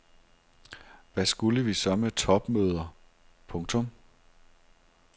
Hvad skulle vi så med topmøder. punktum